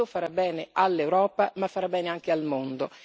Questo farà bene all'Europa, ma farà bene anche al mondo.